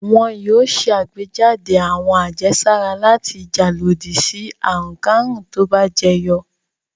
Wọn yóò ṣàgbéjáde àwọn àjẹsára láti jà lòdì sí àrùnkárùn tó bá jẹyọ.